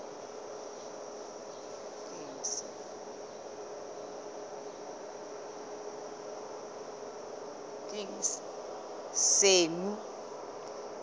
senqu